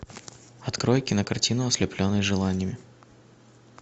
открой кинокартину ослепленный желаниями